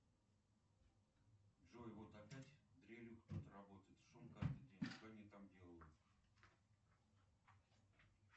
джой вот опять дрелью кто то работает шум каждый день что они там делают